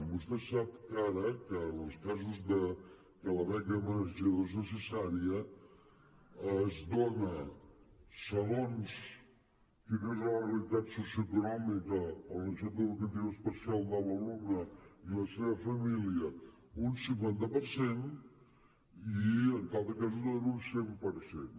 vostè sap que ara en els casos que la beca menjador és necessària es dona segons quina és la realitat socioeconòmica o la necessitat educativa especial de l’alumne i la seva família un cinquanta per cent i en altres casos es dona un cent per cent